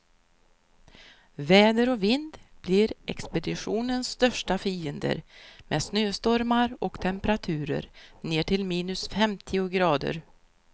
Väder och vind blir expeditionens största fiender, med snöstormar och temperaturer ner till minus femtio grader.